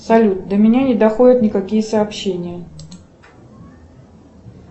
салют до меня не доходят никакие сообщения